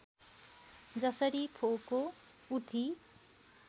जसरी फोको उठी